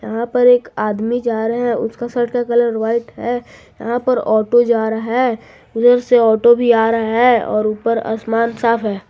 यहां पर एक आदमी जा रहा हैं उसका शर्ट का कलर व्हाइट है यहां पर ऑटो जा रहा है उधर से ऑटो भी आ रहा है और ऊपर आसमान साफ है।